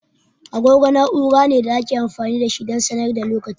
Agogo na'ura ne da ake amfani da shi don sanar da lokaci.